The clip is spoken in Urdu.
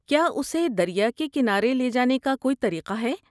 کیا اسے دریا کے کنارے لے جانے کا کوئی طریقہ ہے؟